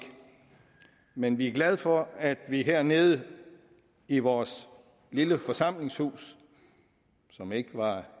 men vi er glade for at vi her nede i vores lille forsamlingshus som ikke var